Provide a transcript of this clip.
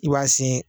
I b'a sen